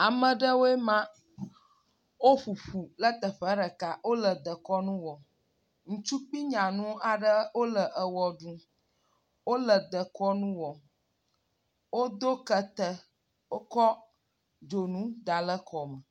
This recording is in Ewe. Ame aɖewoe ma woƒo ƒu ɖe teƒe aɖe wole dekɔnu wɔm. Ŋutsu kple nyanu aɖe wole wɔ ɖum. Wole dekɔnu wɔm, wodo kete, wotsɔ dzonu da ɖe kɔ me